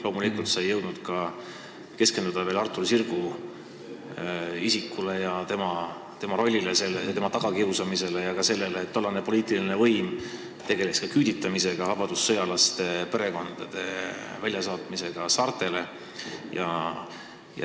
Loomulikult sa ei jõudnud keskenduda Artur Sirgu isikule ja tema rollile, tema tagakiusamisele ega ka sellele, et tollane poliitiline võim tegeles ka küüditamisega, vabadussõjalaste perekondade väljasaatmisega saartele.